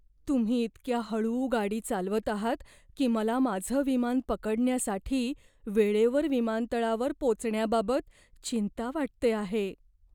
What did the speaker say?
तुम्ही इतक्या हळू गाडी चालवत आहात की मला माझं विमान पकडण्यासाठी वेळेवर विमानतळावर पोचण्याबाबत चिंता वाटते आहे.